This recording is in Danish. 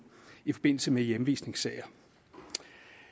i forbindelse med hjemvisningssager